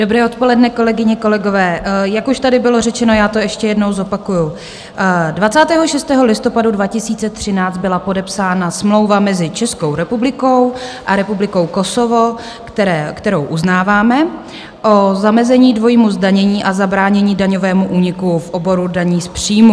Dobré odpoledne, kolegyně, kolegové, jak už tady bylo řečeno, já to ještě jednou zopakuji, 26. listopadu 2013 byla podepsána Smlouva mezi Českou republikou a Republikou Kosovo, kterou uznáváme, o zamezení dvojímu zdanění a zabránění daňovému úniku v oboru daní z příjmu.